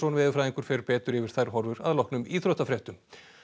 veðurfræðingur fer betur yfir þær horfur að loknum íþróttafréttum